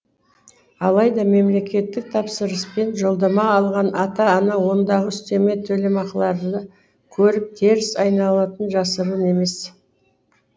алайда мемлекеттік тапсырыспен жолдама алған ата ана ондағы үстеме төлемақыларды көріп теріс айналатыны жасырын емес